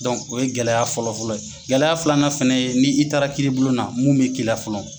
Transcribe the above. Dɔn o ye gɛlɛya fɔlɔfɔlɔ ye, gɛlɛya filanan fana ye , ni i taara kiri bujon na mun bɛ k'i la fɔlɔ